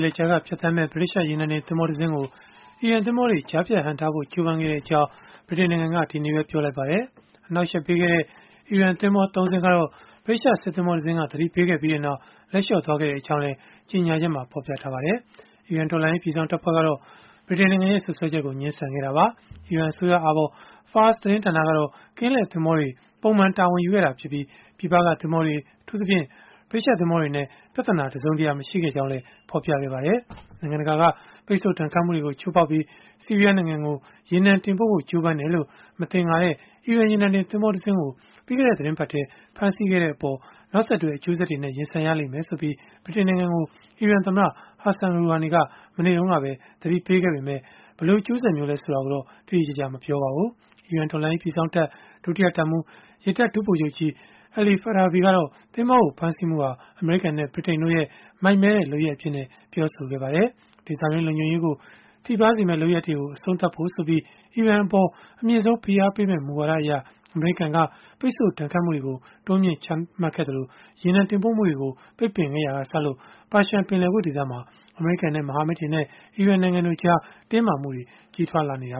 လက်ကြားက ဖြတ်သန်းမယ့် ဗြိတိသျှရေနံတင် သင်္ဘောတစင်းကို အီရန်သင်္ဘောတွေက ကြားဖြတ်ဟန့်တားဖို့ ကြိုးပမ်းခဲ့ကြောင်း ဗြိတိန်နိုင်ငံက ဒီနေ့ပဲ ပြောလိုက်ပါတယ်။ အနှောက်အယှက်ပေးခဲ့တဲ့ အီရန်သင်္ဘော ၃ စင်းကတော့ ဗြိတိသျှ စစ်သင်္ဘောတစင်းက သတိပေးခဲ့ပြီးနောက် လက်လျှော့သွားခဲ့ကြောင်းလည်း ကြေညာချက်မှာ ဖော်ပြထားပါတယ်။ အီရန် တော်လှန်ရေး ပြည်စောင့်တပ်ဖွဲ့ကတော့ ဗြိတိန်နိုင်ငံရဲ့ စွပ်စွဲချက်ကို ငြင်းဆန်ခဲ့တာပါ။ အီရန်အစိုးရအာဘော် Fars သတင်းဌာန ကတော့ ကင်းလှည့်သင်္ဘောတွေ ပုံမှန်တာဝန်ယူခဲ့တာဖြစ်ပြီး ပြည်ပကသင်္ဘောတွေ အထူးသဖြင့် ဗြိတိသျှ သင်္ဘောတွေနဲ့ ပြဿနာ တစုံတရာ မရှိခဲ့ကြောင်းလည်း ဖော်ပြခဲ့ပါတယ်။ နိုင်ငံတကာ ပိတ်ဆို့ဒဏ်ခတ်မှုတွေကို ချိုးဖောက်ပြီး ဆီးရီးယား နိုင်ငံကို ရေနံတင်ပို့ဖို့ ကြိုးပမ်းတယ်လို့ မသင်္ကာတဲ့ အီရန်ရေနံတင် သင်္ဘောတစင်းကို ပြီးခဲ့တဲ့ သီတင်းပတ်ထဲ ဖမ်းဆီးခဲ့တဲ့အပေါ် နောက်ဆက်တွဲ အကျိုးဆက်တွေနဲ့ ရင်ဆိုင်ရလိမ့်မယ်ဆိုပြီး ဗြိတိန်နိုင်ငံကို အီရန်သမ္မတ Hassan Rouhani က မနေ့တုန်းကပဲ သတိပေးခဲ့ပေမဲ့၊ ဘယ်လိုအကျိုးဆက်မျိုးလည်း ဆိုတာကိုတော့ တိတိကျကျ မပြောခဲ့ပါဘူး။ ဒေသတွင်း လုံခြုံရေးကို ထိပါးစေမယ့် လုပ်ရပ်တွေကို အဆုံးသတ်စေဖို့ဆိုပြီး အီရန်အပေါ် အမြင့်ဆုံးဖိအားပေးမယ့် မူဝါဒအရ အမေရိကန်က ပိတ်ဆို့ဒဏ်ခတ်မှုတွေ တိုးမြှင့်ချမှတ်ခဲ့သလို၊ ရေနံတင်ပို့မှုတွေကို ပိတ်ပင်ခဲ့ရာကစလို့ ပါရှန်းပင်လယ်ကွေ့ ဒေသမှာ အမေရိကန်နဲ့ မဟာမိတ်တွေနဲ့ အီရန်နိုင်ငံတို့ကြား တင်းမာမှုတွေ ကြီးထွားလာနေတာ